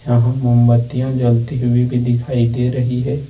यहां मोमबत्तियां जलती हुई भी दिखाई दे रही है।